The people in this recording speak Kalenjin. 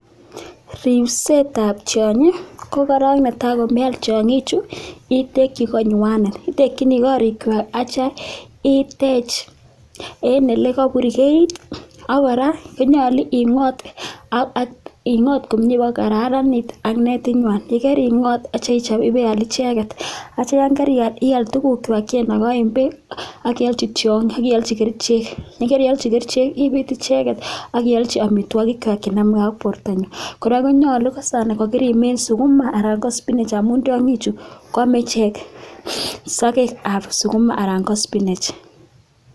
Ripset ap tianyi, ko korok netai kome al tiang'ichu , itekchi konywanet. Itekchini korikwak atia itech en ele kapurgeit ak kora konyalu ing'ot pak ko kararanit ak netinywan. Ye karing'ot atia ichop ip ial icheget. Atia ye kar ial , ial tugukwak che inakaen peek ak ialchi kerichek. Ye ka ialchi kerichek ipiit icheget ak ialchi amitwagikwak che name ge ak portonywa. Kora ko nyalu kosana ko kirimin sukuma anan ko spinach amun tiang'ichu ko ame ichek sakek ap sukuma anan ko spinach.